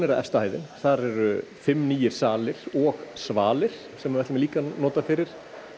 efsta hæðin þar eru fimm nýir salir og svalir sem við ætlum líka að nota fyrir